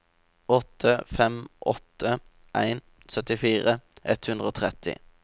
åtte fem åtte en syttifire ett hundre og tretti